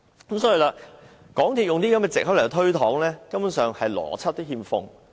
港鐵公司以這種藉口來推搪，連邏輯都欠奉。